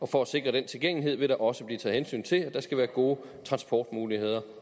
for at sikre den tilgængelighed vil der også blive taget hensyn til at der skal være gode transportmuligheder